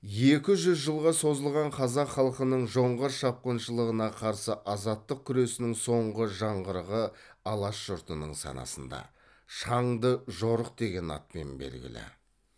екі жүз жылға созылған қазақ халқының жоңғар шапқыншылығына қарсы азаттық күресінің соңғы жаңғырығы алаш жұртының санасында шаңды жорық деген атпен белгілі